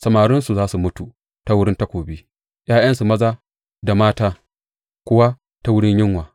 Samarinsu za su mutu ta wurin takobi, ’ya’yansu maza da mata kuwa ta wurin yunwa.